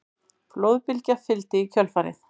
Flóðbylgja fylgdi í kjölfarið